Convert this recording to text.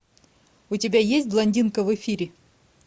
у тебя есть блондинка в эфире